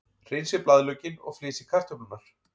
Hreinsið blaðlaukinn og flysjið kartöflurnar.